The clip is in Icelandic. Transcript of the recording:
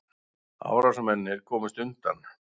Árásarmennirnir komust undan